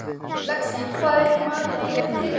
Lexí, hvað er í matinn á laugardaginn?